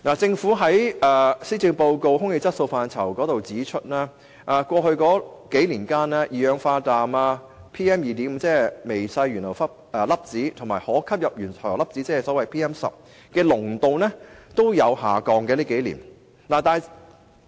政府在施政報告有關"空氣質素"的部分指出，過去數年間，路邊二氧化氮、微細懸浮粒子及可吸入懸浮粒子的濃度皆有所下降。